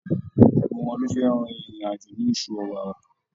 Gbogbo wọn lọ́ fẹ́ rin ìrìn àjò ní oṣù Ọ̀wàrà.